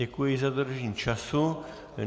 Děkuji za dodržení času.